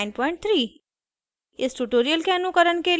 ruby 193